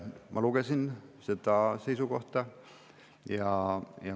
Ma lugesin seda seisukohta.